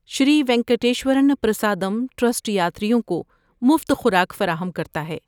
شری وینکٹیشور ن پرسادم ٹرسٹ یاتریوں کو مفت خوراک فراہم کرتا ہے۔